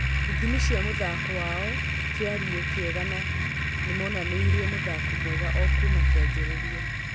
Ithimi cia mũthako wao kĩarĩ kĩega na nĩmonanirie mũthako mwega o kuma kĩanjĩrĩria